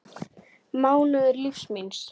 mánuður lífs míns.